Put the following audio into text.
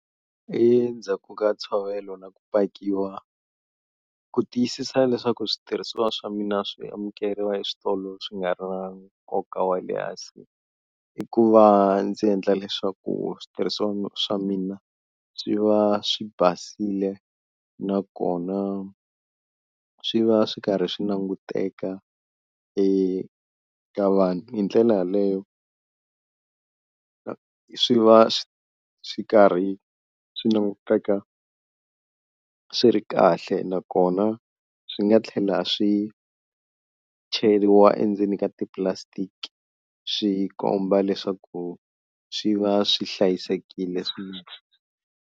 Endzhaku ka ntshovelo na ku pakiwa ku tiyisisa leswaku switirhisiwa swa mina swi amukeriwa eswitolo swi nga ri na nkoka wa le hansi, i ku va ndzi endla leswaku switirhisiwa swa mina swi va swi basile nakona swi va swi karhi swi languteka eka vanhu, hi ndlela yaleyo swi va swi karhi swi languteka swi ri kahle nakona swi nga tlhela swi cheriwa endzeni ka ti-plastic, swi komba leswaku swi va swi hlayisekile .